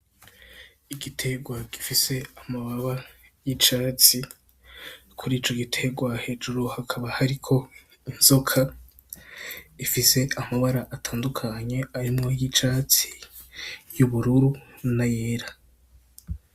Igitegwa gifise amababi y'icatsi kurico gitegwa hejuru hakaba hariko inzoka ifise amabara atandukanye harimwo iryicatsi ,iryubururu nayera.